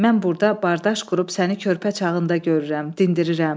Mən burda bardaş qurub səni körpə çağında görürəm, dindirirəm.